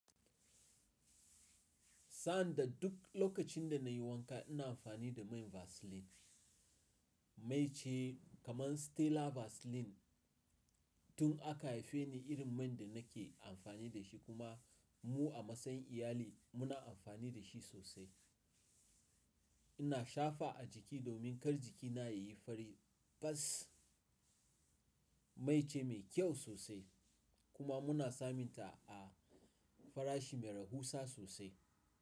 Sanda duk lokacin da na yi wanka ina amfani da man Vaseline, mai ce kaman Stella Vaseline. Tun aka haife ni irin man da na ke amfani da shi kuma mu a matsayin iyali muna amfani da shi sosai. Ina shafa a jiki domin kar jikina ya yi fari. Don mai ce mai kyau sosai kuma muna samun ta a farashi mai rahusa sosai.